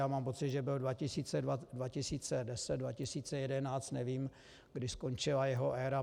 Já mám pocit, že byl 2010, 2011, nevím, kdy skončila jeho éra.